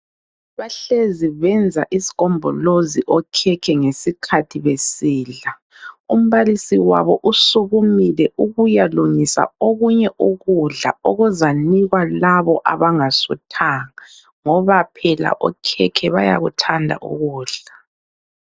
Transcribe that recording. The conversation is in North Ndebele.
Bahlezi benza isigombolozi okhekhe ngesikhathi besidla. Umbalisi wabo usukumile ukuyalungisa okunye ukudla okuzanikwa labo abangasuthanga ngoba phela okhekhe bayakuthanda ukudla.